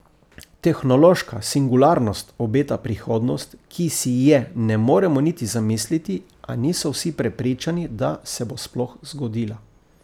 Tehnološka singularnost obeta prihodnost, ki si je ne moremo niti zamisliti, a niso vsi prepričani, da se bo sploh zgodila.